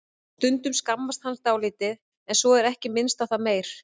Stundum skammast hann dálítið en svo er ekki minnst á það meir.